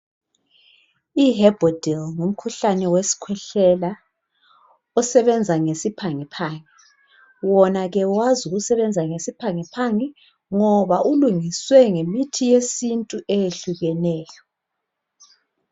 I herbodil ngumkhuhlane wesikhwehlela osebenza ngesiphangi phangi wona ke wazi ukusebenza ngesiphangi phangi ngoba ulungiswe ngemithi yesintu eyehlukeneyo